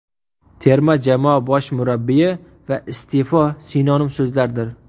Terma jamoa bosh murabbiyi va iste’fo sinonim so‘zlardir.